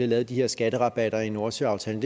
lavet de her skatterabatter i nordsøaftalen